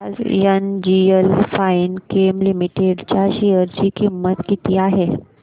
आज NGL Finechem limited च्या share ची किंमत किती आहे